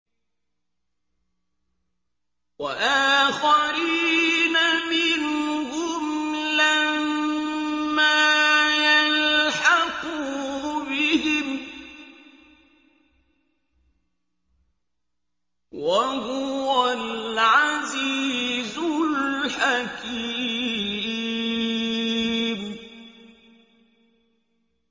وَآخَرِينَ مِنْهُمْ لَمَّا يَلْحَقُوا بِهِمْ ۚ وَهُوَ الْعَزِيزُ الْحَكِيمُ